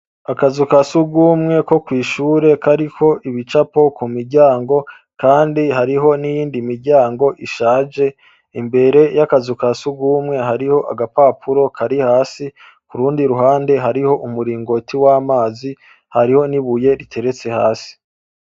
Akazu kasugumwe kokwishure kariko ibicapo kandi hariho niyindi miryango ishaje imbere yakazu kasugumwe hariho agapapuro kari hasi murundi ruhande hariho umuringoti wamazi. Hariho nibuye riteretse hasi.